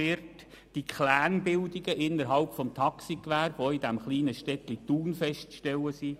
die Clan-Bildungen innerhalb des Taxigewerbes, die auch in dem kleinen Städtchen Thun festzustellen sind;